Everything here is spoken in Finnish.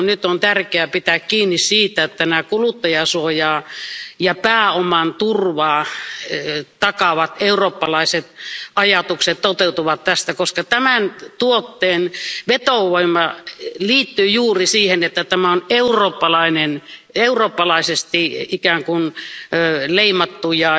Nyt on tärkeää pitää kiinni siitä, että nämä kuluttajansuojan ja pääoman turvan takaavat eurooppalaiset ajatukset toteutuvat tästä, koska tämän tuotteen vetovoima liittyy juuri siihen, että tämä on eurooppalainen, eurooppalaisesti ikään kun leimattu, ja